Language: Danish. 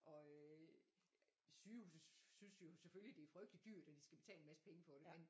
Og øh sygehuset synes jo selvfølgelig det er frygteligt dyrt at de skal betale en masse penge for det